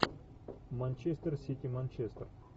манчестер сити манчестер